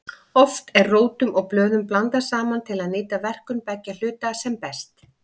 Oft eru rótum og blöðum blandað saman til að nýta verkun beggja hluta sem best.